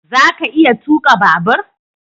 Za ka iya tuka babur?